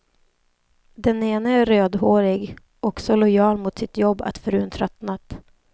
Den ene är rödhårig och så lojal mot sitt jobb att frun tröttnat.